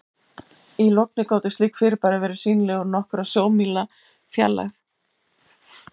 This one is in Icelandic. Í logni gátu slík fyrirbæri verið sýnileg úr nokkurra sjómílna fjarlægð.